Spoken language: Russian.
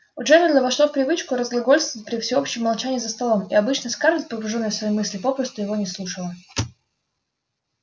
у джералда вошло в привычку разглагольствовать при всеобщем молчании за столом и обычно скарлетт погружённая в свои мысли попросту его не слушала